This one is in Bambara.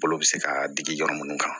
Balo bɛ se ka digi yɔrɔ mun na